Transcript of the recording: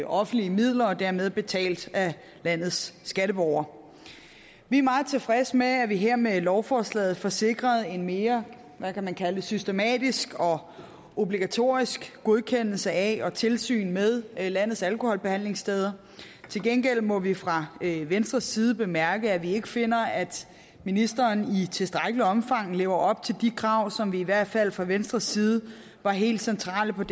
offentlige midler og dermed er betalt af landets skatteborgere vi er meget tilfredse med at vi her med lovforslaget får sikret en mere hvad kan man kalde det systematisk og obligatorisk godkendelse af og tilsyn med landets alkoholbehandlingssteder til gengæld må vi fra venstres side bemærke at vi ikke finder at ministeren i tilstrækkeligt omfang lever op til de krav som i hvert fald fra venstres side var helt centrale